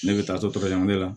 Ne bɛ taa to caman de la